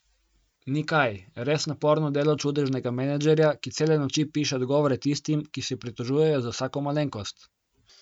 Ni kaj, res naporno delo čudežnega menedžerja, ki cele noči piše odgovore tistim, ki se pritožujejo za vsako malenkost.